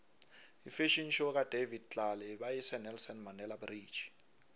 ifafhion show kadavid tlale beyise nelson mandele bridge